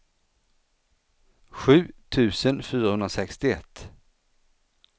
sju tusen fyrahundrasextioett